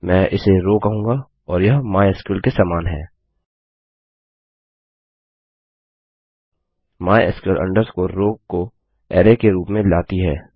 मैं इसे रोव कहूँगा और यह माइस्क्ल के समान है mysql रो को अरै के रूप में लाती है